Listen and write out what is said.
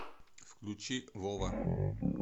включи вова